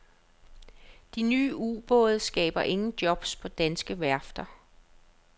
De nye ubåde skaber ingen jobs på danske værfter.